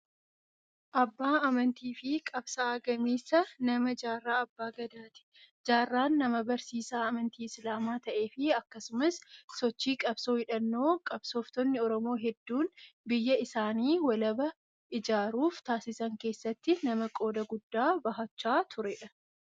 Abbaa amantii fi qabsaa'aa gameessa namaa Jaarraa Abbaa Gadaati. Jaarraan nama barsiisaa amantii Isilaamaa ta'ee fi akkasumas sochii qabsoo hidhannoo qabsooftonni Oromoo hedduun biyya isaanii walabaa ijaaruuf taasisan keessatti nama qooda guddaa bahachaa turedha.